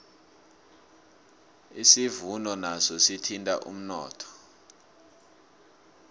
isivuno naso sithinta umnotho